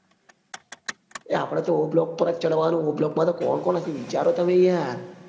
એ આપડે o block પર ચડવા નું o block માં તો કોણ કોણ હશે વિચારો તમે યાર